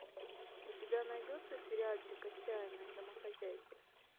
у тебя найдется сериальчик отчаянные домохозяйки